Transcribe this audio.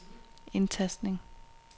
indtastning